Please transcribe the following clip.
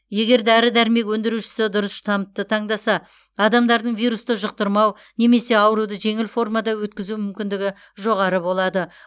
егер дәрі дәрмек өндірушісі дұрыс штампты таңдаса адамдардың вирусты жұқтырмау немесе ауруды жеңіл формада өткізу мүмкіндігі жоғары болады